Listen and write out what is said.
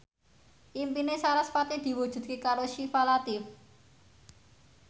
impine sarasvati diwujudke karo Syifa Latief